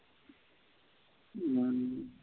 ம்.